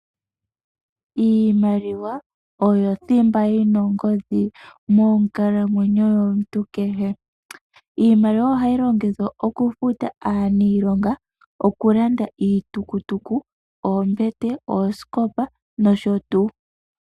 Iimaliwa oyo thimba yi na ongodhi monkalamwenyo yomuntu kehe. Iimaliwa ohayi longithwa okufuta aaniilonga, okulanda iitukutuku, oombete oosikopa nosho tuu.